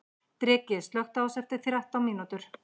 Dreki, slökktu á þessu eftir þrettán mínútur.